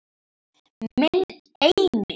Minn eini.